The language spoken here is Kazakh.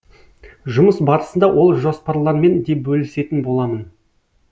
жұмыс барысында ол жоспарлармен де бөлісетін боламын